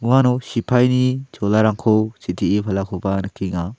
aro sipaini cholarangko sitee palakoba nikenga.